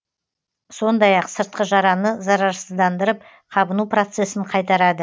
сондай ақ сыртқы жараны зарарсыздандырып қабыну процесін қайтарады